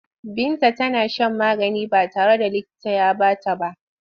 Binta tana shan magani ba tare da likita ya ba ta ba.